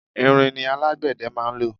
ìrìn ni alágbẹ̀dẹ máa ń lọ